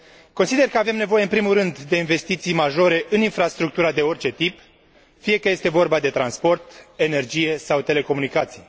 Consider că avem nevoie, în primul rând, de investiții majore în infrastructura de orice tip, fie că este vorba de transport, energie sau telecomunicații.